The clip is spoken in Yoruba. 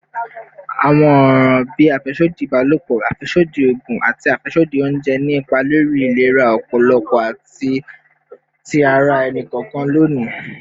Awọn ọran bii afẹsodi ibalopọ, afẹsodi oogun, ati afẹsodi ounjẹ ni ipa lori ilera ọpọlọ ati ti ara ẹni kọọkan loni.